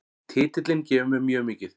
Titillinn gefur mér mjög mikið